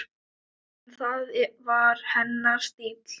En það var hennar stíll.